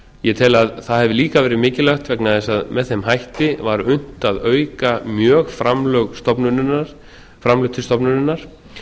ég tel að það hafi líka verið mikilvægt vegna þess að með þeim hætti var unnt að auka mjög framlög til stofnunarinnar